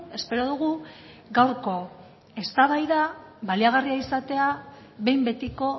espero dugu gaurko eztabaida baliagarria izatea behin betiko